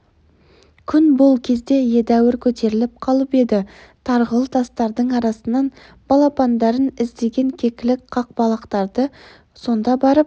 күн бұл кезде едәуір көтеріліп қалып еді тарғыл тастардың арасынан балапандарын іздеген кекілік қақылықтады сонда барып